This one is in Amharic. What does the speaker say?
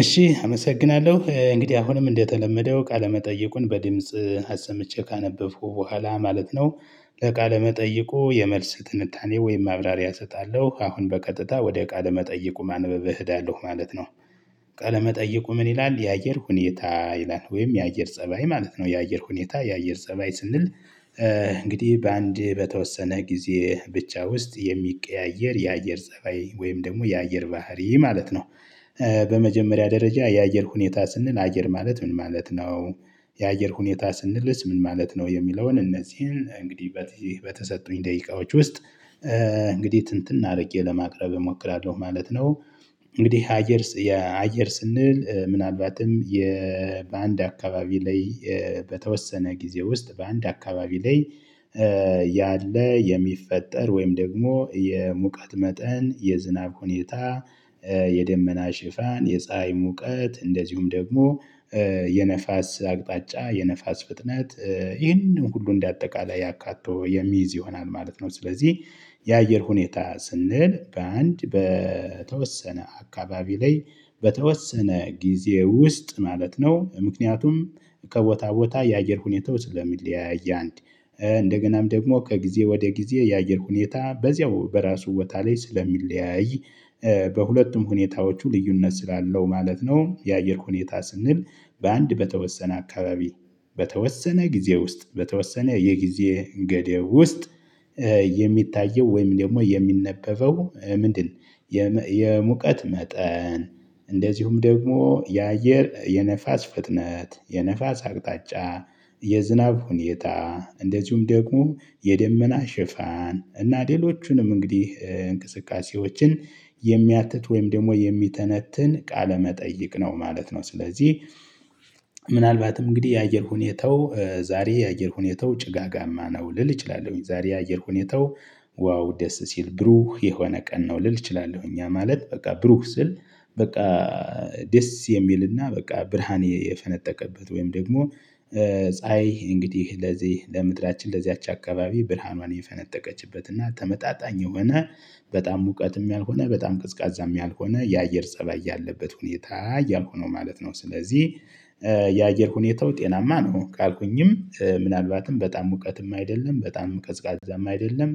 እሺ አመሰግናለሁ እንግዲህ አሁንም እንደተለመደው ቃለ መጠየቁን በድምጽ አሰምቼ ካነበብኩ በኋላ ማለት ነው። ለቃለመጠይቁ የመልስ ትንታኔ ወይም ማብራሪያ እሰጣለሁ አሁን በቀጥታ ወደ ቃለመጠይቁ ማንበብ እሄዳለሁ ማለት ነው። ቃለ መጠየቁ ምን ይላል? የአየር ሁኔታ ይላል ወይም የአየር ፀባይ ማለት ነው የአየር ሁኔታ የአየር ፀባይ ስንል። እንግዲህ በአንድ በተወሰነ ጊዜ ብቻ ውስጥ የሚቀያየር የአየር ፀባይ ወይም ደግሞ የአየር ባህሪ ማለት ነው። በመጀመሪያ ደረጃ የአየር ሁኔታ ስንል አየር ማለት ምን ማለት ነው? የአየር ሁኔታ ስንልስ ምን ማለት ነው? የሚለውን እነዚህን እንግዲህ በተሰጡኝ ደቂቃዎች ውስጥ እንግዲህ ትንትን አድርጌ ለማቅረብ እሞክራለሁ ማለት ነው። እንግዲህ አየር አየር ስንል ምናልባትም በአንድ አካባቢ ላይ በተወሰነ ጊዜ ውስጥ በአንድ አካባቢ ላይ። ያለ የሚፈጠር ወይም ደግሞ የሙቀት መጠን የዝናብ ሁኔታ የደመና ሽፋን የፀሀይ ሙቀት እንደዚሁም ደግሞ የነፋስ አቅጣጫ የነፋስ ፍጥነት ይህንን ሁሉ እንደ አጠቃላይ አካቶ የሚይዝ ይሆናል ማለት ነው። ስለዚህ የአየር ሁኔታ ስንል በአንድ በተወሰነ አካባቢ ላይ በተወሰነ ጊዜ ውስጥ ማለት ነው። ምክንያቱም ከቦታ ቦታ የአየር ሁኔታው ስለሚለያይ አንድ እንደገናም ደግሞ ከጊዜ ወደ ጊዜ የአየር ሁኔታ በዚያው በራሱ ቦታ ላይ ስለሚለያይ በሁለቱም ሁኔታዎቹ ልዩነት ስላለው ማለት ነው። የአየር ሁኔታ ስንል በአንድ በተወሰነ አካባቢ በተወሰነ ጊዜ ውስጥ በተወሰነ የጊዜ ገደብ ውስጥ የሚታየው ወይም ደግሞ የሚነበበው ምንድን? የሙቀት መጠን እንደዚሁም ደግሞ የአየር የነፋስ ፍጥነት የነፋስ አቅጣጫ የዝናብ ሁኔታ እንደዚሁም ደግሞ የደመና ሽፋን እና ሌሎቹንም እንግዲህ እንቅስቃሴዎችን የሚያትት ወይም ደግሞ የሚተነትን ቃለመጠይቅ ነው ማለት ነው። ስለዚህ ምናልባትም እንግዲህ የአየር ሁኔታው ዛሬ የአየር ሁኔታው ጭጋጋማ ነው ልል እችላለሁኝ ዛሬ የአየር ሁኔታው ዋው ደስ ሲል ብሩህ የሆነ ቀን ነው ልል እችላለሁ ያ ማለት በቃ ብሩህ ስል በቃ ደስ የሚልና በቃ ብርሃን የፈነጠቀበት ወይም ደግሞ ፀሀይ እንግዲህ ለዚህ ለምድራችን ለዚያች አካባቢ ብርሃኗን የፈነጠቀችበት እና ተመጣጣኝ የሆነ በጣም ሙቀትም ያልሆነ በጣም ቅዝቃዛም ያልሆነ የአየር ፀባይ ያለበት ሁኔታ እያልኩ ነው ማለት ነው። ስለዚህ የአየር ሁኔታው ጤናማ ነው ካልኩኝም ምናልባትም በጣም ሙቀትም አይደለም በጣም ቀዝቃዛም አይደለም